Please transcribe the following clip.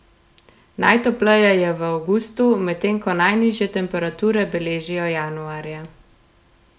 Najtopleje je v avgustu, medtem ko najnižje temperature beležijo januarja.